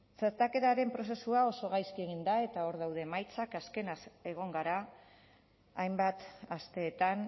txertaketaren prozesua oso gaizki egin da eta hor daude emaitzak azkenaz egon gara hainbat asteetan